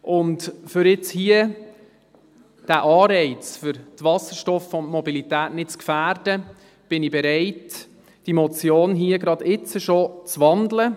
Und um jetzt hier diesen Anreiz für die Wasserstoffmobilität nicht zu gefährden, bin ich bereit, diese Motion jetzt schon zu wandeln.